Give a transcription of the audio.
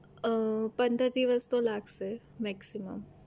અમ પંદર દિવસ તો લાગશે maiximum